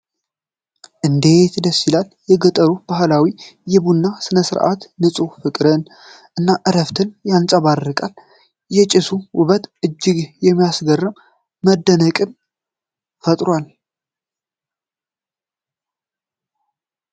እንዴት ደስ ይላል! የገጠሩ ባህላዊ የቡና ሥነ-ሥርዓት ንፁህ ፍቅርን እና እረፍትን ያንጸባርቃል ። የጭሱ ውበት እጅግ የሚያስገርም መደነቅን ፈጥሯል ።